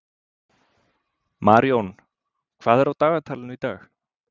Marjón, hvað er á dagatalinu í dag?